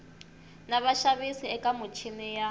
na vaxavis eka michini ya